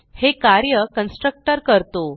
हे कार्य कन्स्ट्रक्टर करतो